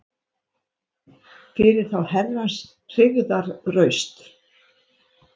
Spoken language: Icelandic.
Fyrir þá Herrans hryggðarraust